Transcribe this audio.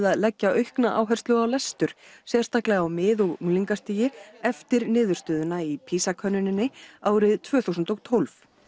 að leggja aukna áherslu á lestur sérstaklega á mið og unglingastigi eftir niðurstöðuna í PISA könnuninni tvö þúsund og tólf